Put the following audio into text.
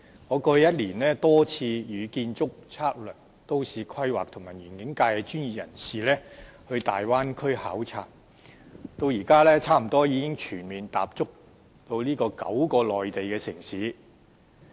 我過去一年多次與建築、測量、都市規劃及園境界的專業人士前往大灣區考察，至今已幾乎全面踏足這9個內地城市。